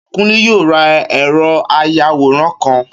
Kúnlé yóò ra ẹ̀rọ àyawòran kan